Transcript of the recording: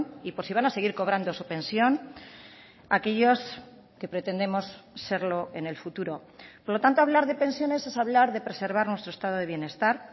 y por si van a seguir cobrando su pensión a aquellos que pretendemos serlo en el futuro por lo tanto hablar de pensiones es hablar de preservar nuestro estado de bienestar